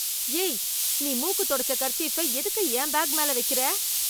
ஏய், நீ மூக்கு துடைச்ச கர்சீஃப்ப எதுக்கு என் பேக் மேல வைக்குற?